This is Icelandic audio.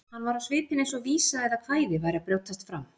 Hann var á svipinn eins og vísa eða kvæði væri að brjótast fram.